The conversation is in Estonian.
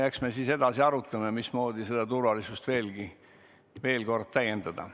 Eks me siis edaspidi arutame, mismoodi turvalisust veelgi täiendada.